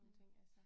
Ja